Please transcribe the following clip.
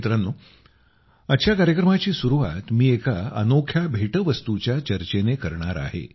मित्रांनो आजच्या कार्यक्रमाची सुरवात मी एकाअनोख्या भेटवस्तूच्या चर्चेने करणार आहे